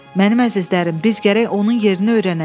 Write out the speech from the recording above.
Mənim əzizlərim, biz gərək onun yerini öyrənək.